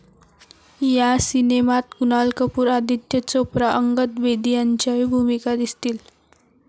या सिनेमात कुणाल कपूर, आदित्य चोप्रा, अंगद बेदी यांच्याही भूमिका दिसतील.